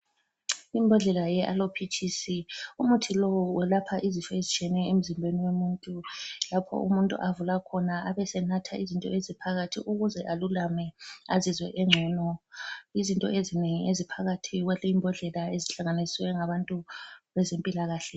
Imbodlela yeAloe peaches, umuthi lowu welapha izifo ezitshiyeneyo emzimbeni womuntu. Lapho umuntu avula khona abesenatha izinto eziphakathi ukuze alulame azizwe engcono. Izinto ezinengi eziphakathi kwaleyi mbodlela ezihlanganiswe ngabantu bezempilakahle.